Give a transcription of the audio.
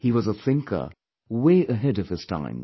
He was a thinker way ahead of his times